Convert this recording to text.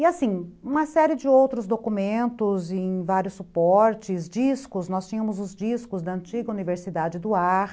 E assim, uma série de outros documentos em vários suportes, discos, nós tínhamos os discos da antiga Universidade do Ar,